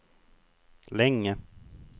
länge